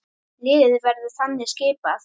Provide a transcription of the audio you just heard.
Liðið verður þannig skipað